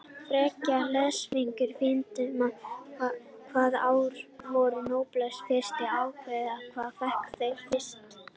Frekara lesefni á Vísindavefnum: Hvaða ár voru Nóbelsverðlaunin fyrst afhent og hver fékk þau fyrst?